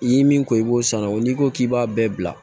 I ye min ko i b'o san ne o n'i ko k'i b'a bɛɛ bila